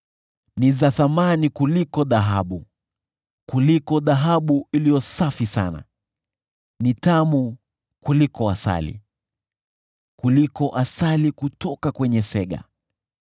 Ni za thamani kuliko dhahabu, kuliko dhahabu iliyo safi sana, ni tamu kuliko asali, kuliko asali kutoka kwenye sega.